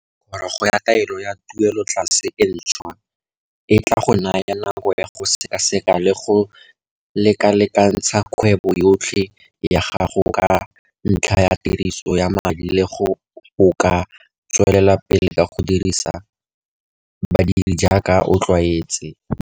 Kgorogo ya taelo ya tuelotlase e ntshwa e tla go naya nako ya go sekaseka le go lekalekantsha kgwebo yotlhe ya gago ka ntlha ya tiriso ya madi le gore o ka tswelela pele ka go dirisa badiri jaaka o tlwaetse.